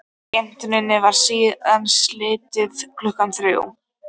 Skemmtuninni var síðan slitið klukkan þrjú.